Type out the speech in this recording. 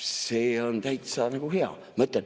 See on täitsa hea mõte.